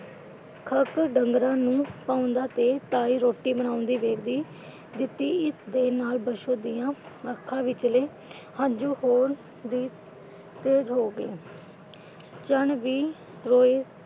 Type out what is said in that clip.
ਕੱਖ ਡੰਗਰਾਂ ਨੂੰ ਪਾਉਂਦਾ ਤੇ ਤਾਈ ਰੋਟੀ ਬਣਾਉਂਦੀ ਵੇਖਦੀ . ਦੇ ਨਾਲ ਬਸੋ ਦੀਆਂ ਅੱਖਾਂ ਵਿਚਲੇ ਹੰਝੂ ਹੋਰ ਵੀ ਤੇਜ਼ ਹੋ ਗਏ ਅਚਾਨਕ ਵੀ ਰੋਏ।